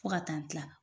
Fo ka taa kila